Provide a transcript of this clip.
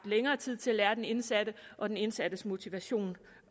længere tid til at lære den indsatte og den indsattes motivation